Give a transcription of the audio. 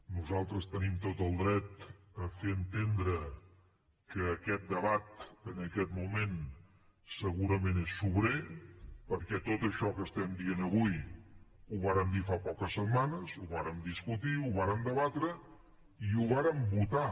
nosaltres tenim tot el dret a fer entendre que aquest debat en aquest moment segurament és sobrer perquè tot això que estem dient avui ho vàrem dir fa poques setmanes ho vàrem discutir ho vàrem debatre i ho vàrem votar